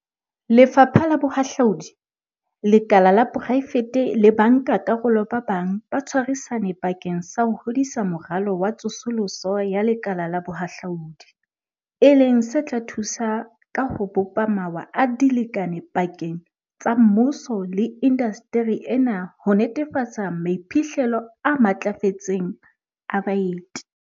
Lefapha la Bohahlaudi, lekala la poraefete le bankakarolo ba bang ba tshwarisane bakeng sa ho hodisa Moralo wa Tsosoloso ya Lekala la Bohahlaudi, e leng se tla thusa ka ho bopa mawa a dilekane pakeng tsa mmuso le indasteri ena ho netefatsa maiphihlelo a matlafetseng a baeti.